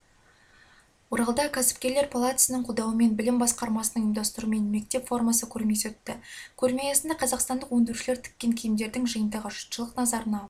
оралда кәсіпкерлер палатасының қолдауымен білім басқармасының ұйымдастыруымен мектеп формасы көрмесі өтті көрме аясында қазақстандық өндірушілер тіккен киімдердің жиынтығы жұртшылық назарына